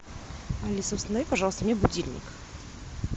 алиса установи пожалуйста мне будильник